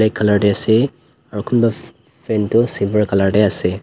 colour te ase aro konba f fan to silver colour te ase.